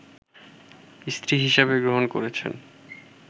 স্ত্রী হিসেবে গ্রহণ করছেন